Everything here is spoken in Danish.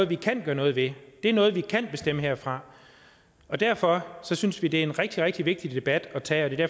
vi kan gøre noget ved det er noget vi kan bestemme herfra og derfor synes vi det er en rigtig rigtig vigtig debat at tage og det er